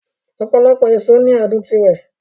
Ọ̀pọ̀lọpọ̀ èso ní adùn tirẹ̀